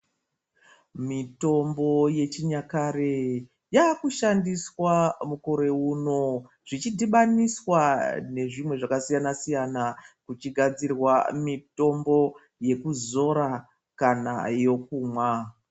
Mitombo yechinyakare yakushandiswa mukore uno zvichidhibaniswa ne zvimwe zvakasiyana siyana kuchigadzirwa mitombo yekuzora kana yekumwa.